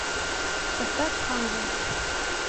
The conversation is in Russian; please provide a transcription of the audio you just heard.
поставь ханза